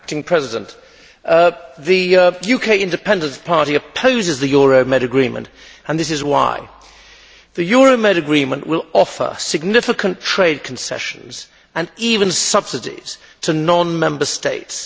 Mr President, the UK Independence Party opposes the Euromed agreement, and this is why the Euromed agreement will offer significant trade concessions, and even subsidies, to non Member States.